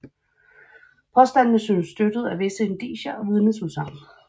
Påstandene syntes støttet af visse indicier og vidneudsagn